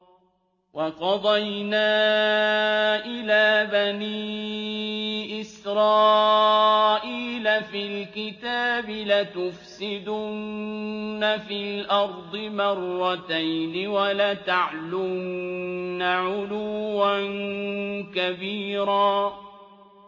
وَقَضَيْنَا إِلَىٰ بَنِي إِسْرَائِيلَ فِي الْكِتَابِ لَتُفْسِدُنَّ فِي الْأَرْضِ مَرَّتَيْنِ وَلَتَعْلُنَّ عُلُوًّا كَبِيرًا